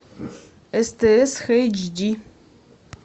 стс хэйчди